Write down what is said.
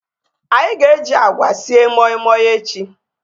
Anyị ga-eji agwa sie moi moi echi